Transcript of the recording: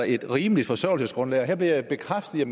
et rimeligt forsørgelsesgrundlag og her bliver jeg bekræftet i at